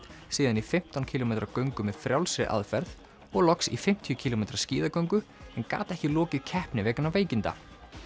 síðan í fimmtán kílómetra göngu með frjálsri aðferð og loks í fimmtíu kílómetra skíðagöngu en gat ekki lokið keppni vegna veikinda